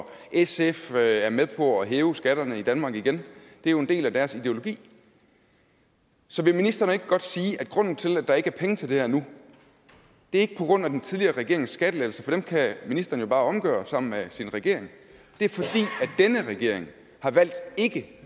sf er er med på at hæve skatterne i danmark igen det er jo en del af deres ideologi så vil ministeren ikke godt sige at grunden til at der ikke er penge til det her nu ikke er den tidligere regerings skattelettelser for dem kan ministeren jo bare omgøre sammen med sin regering men at denne regering har valgt ikke